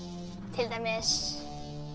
til dæmis